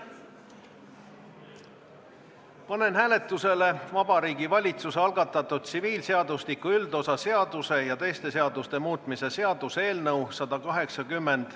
Panen hääletusele Vabariigi Valitsuse algatatud tsiviilseadustiku üldosa seaduse ja teiste seaduste muutmise seaduse eelnõu .